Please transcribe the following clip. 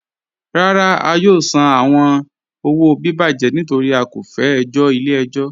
Rárá, à yóò sàn àwọn owo bíbàjẹ̀ nítorí à kò fẹ ẹ̀jọ̀ ilẹ̀-ẹ̀jọ̀.